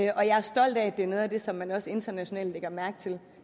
og jeg er stolt af at det er noget af det som man også internationalt lægger mærke til